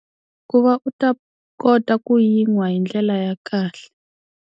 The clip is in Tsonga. Ku va u ta kota ku yi nwa hi ndlela ya kahle.